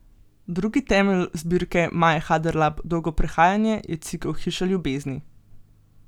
Drugi temelj zbirke Maje Haderlap Dolgo prehajanje je cikel hiša ljubezni.